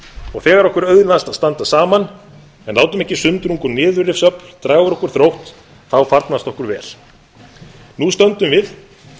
og þegar okkur auðnast að standa saman en látum ekki sundrung og niðurrifsöfl draga úr okkur þrótt þá farnast okkur vel nú stöndum við